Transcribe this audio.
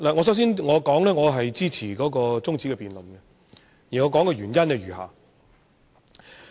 首先，我表示支持這項中止待續議案，原因如下。